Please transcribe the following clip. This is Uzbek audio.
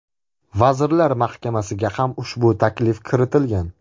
Vazirlar Mahkamasiga ham ushbu taklif kiritilgan.